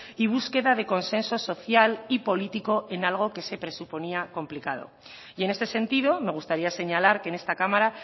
y búsqueda de consenso social y político en algo que se presuponía complicado y en este sentido me gustaría señalar que en esta cámara